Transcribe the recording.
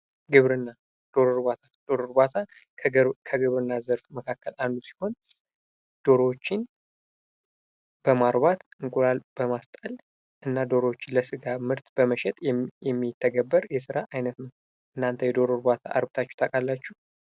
ግብርና ። ዶሮ እርባታ ፡ ዶሮ እርባታ ከግብርና ከግብርና ዘርፍ መካከል አንዱ ሲሆን ዶሮዎችን በማርባት እንቁላል በማስጣል እና ዶሮዎችን ለስጋ ምርት በመሸጥ የሚተገበር የስራ አይነት ነው ። እናንተ የዶሮ እርባታ አርብታችሁ ታውቃላችሁ?